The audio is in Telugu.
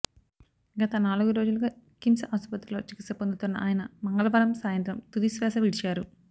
గత నాలుగు రోజులుగా కిమ్స్ ఆసుపత్రిలో చికిత్స పొందుతున్న ఆయన మంగళవారం సాయంత్రం తుదిశ్వాస విడిచారు